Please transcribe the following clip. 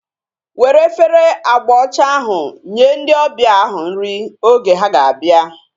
Were efere agba ọcha ahu nye ndị ọbịa ahu nri oge ha ga-abịa